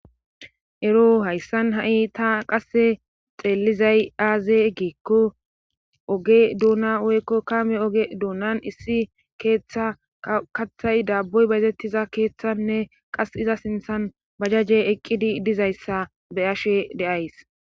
ero hayssan ha7i ta qasse xeellizay aaze giikko oge duuna woykko kame oge duunan issi keeththa kathay daabboy bayetettiza keeththanne qas iza sinthan bajaje eqqidi dizayssa be'ashe de'ays